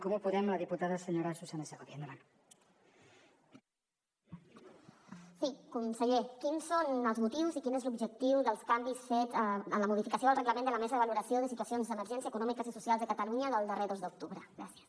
conseller quins són els motius i quin és l’objectiu dels canvis fets en la modificació del reglament de la mesa de valoració de situacions d’emergència econòmiques i socials de catalunya del darrer dos d’octubre gràcies